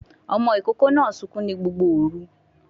Ọmọ ìkókó náà sunkún ní Gbogbo òru